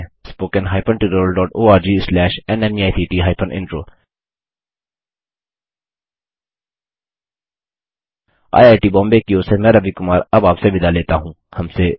spoken hyphen tutorial dot org slash NMEICT hyphen intro IIT Bombay की ओर से मैं रवि कुमार अब आपसे विदा लेता हूँ